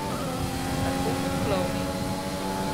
Tako kot klovni.